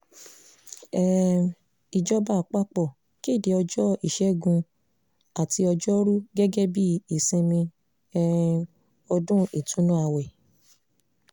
um ìjọba àpapọ̀ kéde ọjọ́ ìṣègùn àti ọgọ́rùú gẹ́gẹ́ bíi ìsinmi um ọdún ìtùnú ààwẹ̀